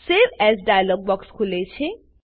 save as dialog box ખુલે છે